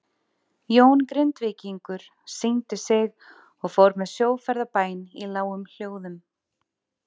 Jón Grindvíkingur signdi sig og fór með sjóferðabæn í lágum hljóðum.